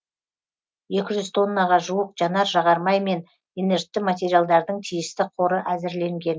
екі жүз тоннаға жуық жанар жағармай мен инертті материалдардың тиісті қоры әзірленген